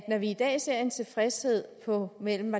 når vi i dag ser en tilfredshed på mellem